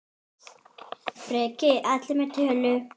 Breki: Allir með tölu?